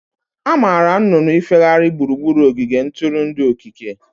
Amaara nnụnụ ifehari gburugburu ogige ntụrụndụ okike.